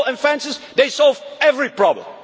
With walls and fences they solve every problem.